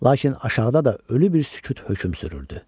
Lakin aşağıda da ölü bir sükut hökm sürürdü.